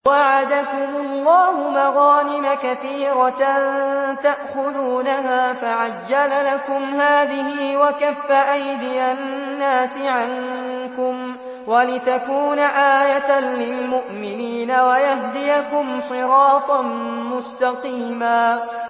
وَعَدَكُمُ اللَّهُ مَغَانِمَ كَثِيرَةً تَأْخُذُونَهَا فَعَجَّلَ لَكُمْ هَٰذِهِ وَكَفَّ أَيْدِيَ النَّاسِ عَنكُمْ وَلِتَكُونَ آيَةً لِّلْمُؤْمِنِينَ وَيَهْدِيَكُمْ صِرَاطًا مُّسْتَقِيمًا